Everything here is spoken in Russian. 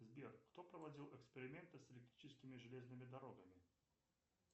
сбер кто проводил эксперименты с электрическими железными дорогами